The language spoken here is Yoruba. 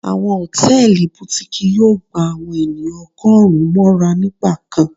Awọn hòtẹ́ẹ̀lì Butikii yóò gbá àwọn ènìyàn ọgọrùn móra nígbà kán.